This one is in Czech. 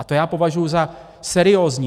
A to já považuji za seriózní.